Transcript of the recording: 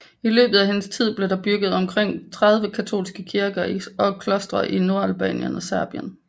I løbet af hendes tid blev der bygget omkring 30 katolske kirker og klostre i Nordalbanien og Serbien